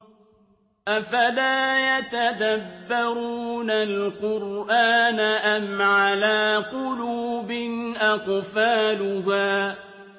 أَفَلَا يَتَدَبَّرُونَ الْقُرْآنَ أَمْ عَلَىٰ قُلُوبٍ أَقْفَالُهَا